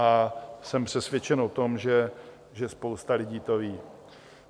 A jsem přesvědčen, o tom, že spousta lidí to ví.